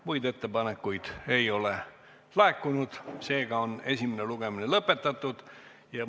Muid ettepanekuid ei ole laekunud, seega on esimene lugemine lõpetatud.